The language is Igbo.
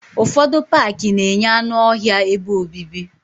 Ufodu Pááki na-enye anụ ọhịa ebe obibi